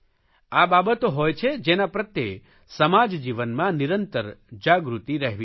આ બાબતો હોય છે જેના પ્રત્યે સમાજ જીવનમાં નિરંતર જાગૃતિ રહેવી જોઇએ